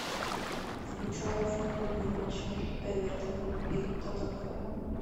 включай футбольный матч между эвертоном и тоттенхэмом